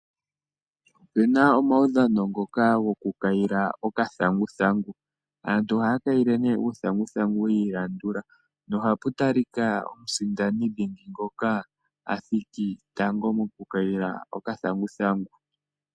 Opu na omaudhano ngoka gokukayila okathanguthangu. Aantu ohaya kayile nduno uuthanguthangu yi ilandula nohapu tali ka omusindani dhingi ngoka a thiki tango mokukayila okathanguthangu.